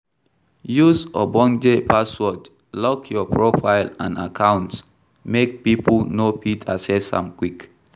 Use ogbonge password lock your profile and accounts make pipo no fit access am quick